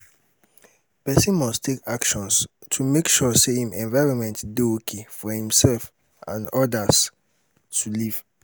persin must take actions to make sure say im environment de okay for imself and others to live